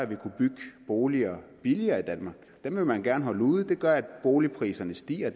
ville kunne bygge boliger billigere i danmark dem vil man gerne holde ude det gør at boligpriserne stiger og